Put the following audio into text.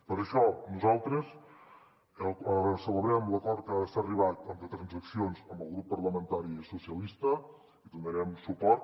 per això nosaltres celebrem l’acord a què s’ha arribat amb transaccions amb el grup parlamentari socialistes i hi donarem suport